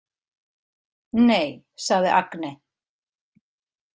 Nei, sagði Agne.